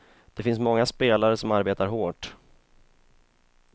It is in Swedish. Det finns många spelare som arbetar hårt.